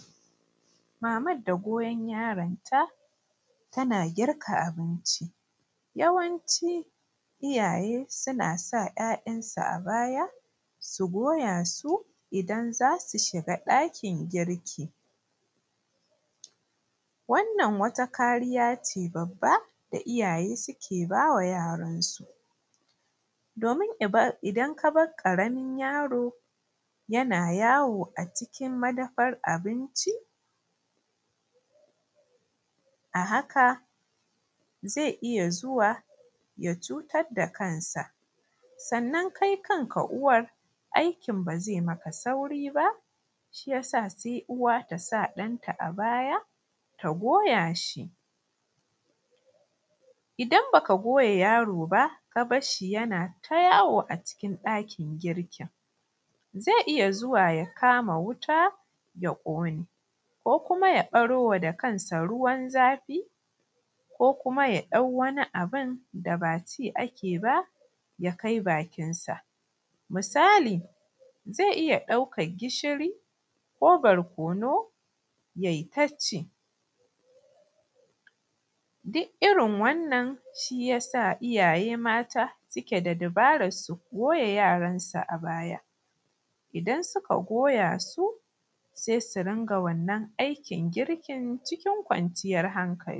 Maman da goyon yaron ta tana girka abinci yawancin iyaye suna sa yayan su a baya su goya su idan za su shiga ɗakin girki. Wannan wata kariya ce babba da iyaye suke ba wa yaran su domin idan ka bar ƙaramin yaro yana yawo a cikin madafan abinci, a haka zai iya zuwa ya cutar da kansa sannan ke kanki uwar aikin ba zai miki sauri ba, shi ya sa sai uwa ta sa ɗan ta a baya ta goya shi idan ba ki goya yaro ba, ki bar shi yana yawo a dakin girki zai iya zuwa ya kama wuta yaƙone ko kuma ya baro wa kansa ruwan zafi ko kuma ya dau wani abun da ba ci ake ba ya kai bakin sa. Misali zai iya daukan gishiri ko barkonu yai ta ci shi ya sa iyaye mata suke da dabaran su goya yaran su a baya idan suka goya su sai su riƙa wannan aikin girkin cikin kwanciyan hankali.